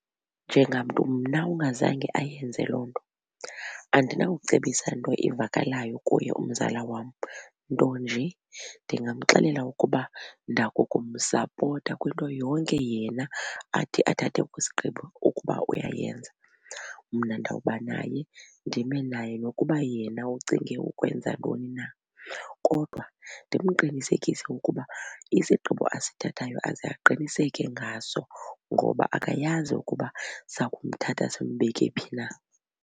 Njengamntu mna ungazange ayenze loo nto andinawucebisa nto ivakalayo kuye umzala wam nto nje ndingamxelela ukuba ndakukumsapota kwinto yonke yena athi athathe kwisigqibo ukuba uyayenza. Mna ndawuba naye ndime naye nokuba yena ucinge ukwenza ntoni na. Kodwa ndimqinisekise ukuba isigqibo asithathayo aze aqiniseke ngaso ngoba akayazi ukuba sakumthatha simbeke phi na.